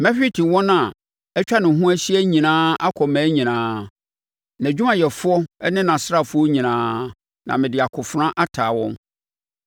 Mɛhwete wɔn a atwa ne ho ahyia nyinaa akɔ mmaa nyinaa; nʼadwumayɛfoɔ ne nʼasraafoɔ nyinaa, na mede akofena ataa wɔn.